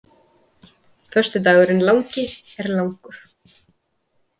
Föstudagurinn langi er langur.